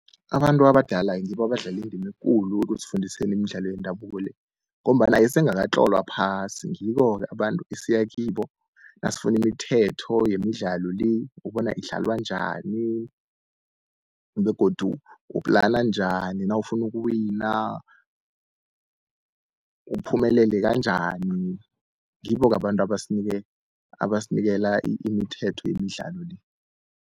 Abantu abadala ngibo abadlala indima ekulu ekusifundiseni imidlalo yendabuko le, ngombana isengakatlolwa phasi. Ngibo-ke abantu esiya kibo nasifuna imithetho yemidlalo le, bona idlalwa njani begodu uplana njani nawufuna ukuwina, uphumelele kanjani. Ngibo-ke abantu abasinikela imithetho yemidlalo le.